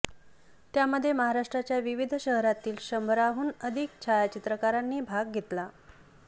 त्यामध्ये महाराष्ट्राच्या विविध शहरांतील शंभराहून अधिक छायाचित्रकारांनी भाग घेतला